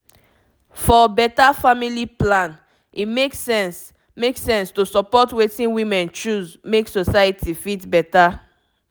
for beta family plan e make sense make sense to support wetin women choose make society fit beta